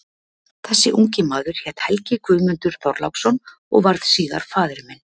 Þessi ungi maður hét Helgi Guðmundur Þorláksson og varð síðar faðir minn.